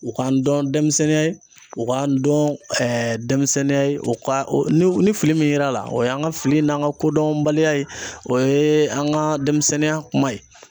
U k'an dɔn denmisɛnninya ye, u k'an dɔn denmisɛnninya o ka ni fili min yera a la o y'an ka fili n'an ka kodɔnbaliya ye, o ye an ka denmisɛnninya kuma ye.